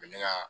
U bɛ ne ka